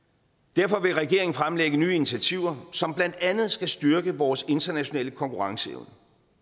derfor vil regeringen fremlægge nye initiativer som blandt andet skal styrke vores internationale konkurrenceevne